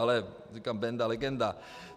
Ale říkám Benda - legenda.